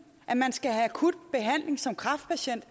at man skal have akut behandling som kræftpatient